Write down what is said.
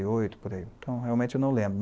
Então, realmente, eu não lembro.